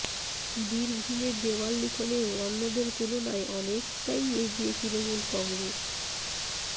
বীরভূমে দেওয়াল লিখনেও অন্যদের তুলনায় অনেকাই এগিয়ে তৃণমূল কংগ্রেস